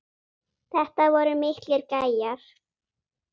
Þetta voru miklir gæjar.